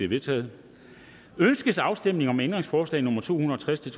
vedtaget ønskes afstemning om ændringsforslag nummer to hundrede og tres til